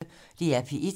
DR P1